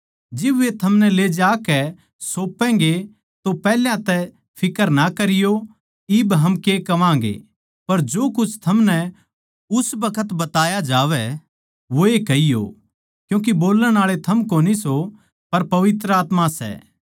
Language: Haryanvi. जिब वे थमनै ले जाकै सौपैगें तो पैहल्या तै फिक्र ना करियो इब हम के कहवागें पर जो कुछ थमनै उस बखत बताया जावै वोए कहियो क्यूँके बोल्लण आळे थम कोनी सो पर पवित्र आत्मा सै